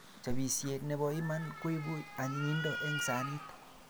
Chapisiet nebo iman koipu anyinyindo eng sanit